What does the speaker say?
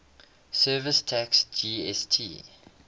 services tax gst